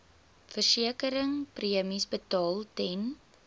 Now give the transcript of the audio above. versekeringspremies betaal ten